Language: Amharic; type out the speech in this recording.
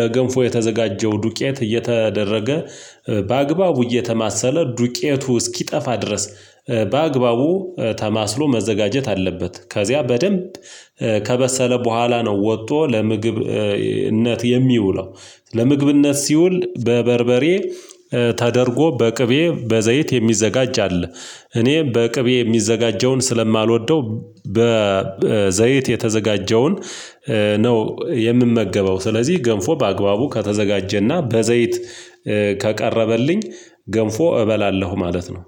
ለገንፎ የተዘጋጀው ዱቄት እየተደረገ፣ በአግባቡ እየተማሰለ፣ ዱቄቱ እስኪጠፋ ድረስ በአግባቡ ተማስሎ መዘጋጀት አለበት፤ ከዚያ በደንብ ከበሰለ በኋላ ነው ወጥቶ ለምግብነት የሚውለው፤ ለምግብነት ሲውል በበርበሬ ተደርጎ በቅቤ፣ በዘይት የሚዘጋጅ አለ። እኔም በቅቤ የሚዘጋጀውን ስለማልወደው በዘይት የተዘጋጀውን ነው የምመገበው ስለዚህ ገንፎ በአግባቡ ከተዘጋጀና በዘይት ከቀረበልኝ ገንፎ እበላለሁ ማለት ነው።